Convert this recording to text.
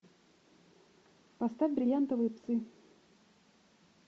поставь бриллиантовые псы